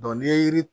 n'i ye yiri